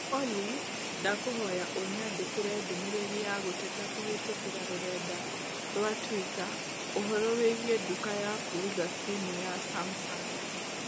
Olly, ndakũhoya ũnyandĩkĩre ndũmĩrĩri ya gũteta kũhĩtũkĩra rũrenda rũa tũita ũhoro wĩgiĩ nduka ya kuuza simu ya Sumsung